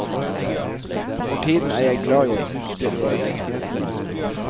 For tiden er jeg glad jeg husker hva jeg heter.